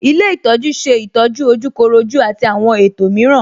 Ilé ìtọ́jú ṣe ìtọ́jú ojúkorojú àti àwọn ètò mìíràn